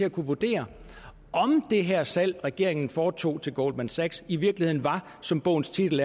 at kunne vurdere om det her salg regeringen foretog til goldman sachs i virkeligheden var som bogens titel